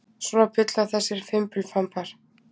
Svona bulla þessir fimbulfambar.